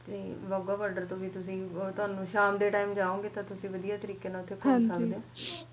Wagha border ਤੋਂ ਵੀ ਤੁਸੀਂ ਸ਼ਾਮ ਦੇ time ਜਾਯੋਗੇ ਤਾ ਵਧਿਆ ਤਰੀਕੇ ਨਾਲ ਓਥੇ ਘੁੰਮ ਸਕਦੇ ਉਹ